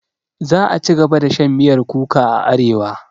Za'a cigaba da shan miyar kuka a arewa.